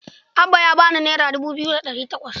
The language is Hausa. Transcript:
Abba ya ba ni naira dubu biyu da ɗari takwas.